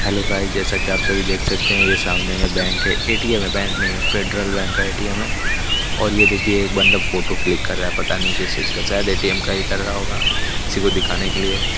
hello guys जैसा कि आप सभी देख सकते हैं ये सामने में बैंक है ए_टी_एम है बैंक नहीं हैं फेडरल बैंक का ए_टी_एम है और ये देखिए एक बंदा फोटो क्लिक कर रहा है पता नहीं किस चीज का शायद ए_टी_एम का ही कर रहा होगा किसी को दिखाने के लिए--